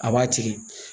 A b'a tigɛ